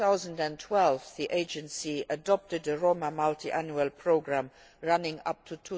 In 2012 the agency adopted a Roma multiannual programme running up to